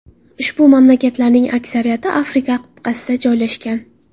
Ushbu mamlakatlarning aksariyati Afrika qit’asida joylashgan.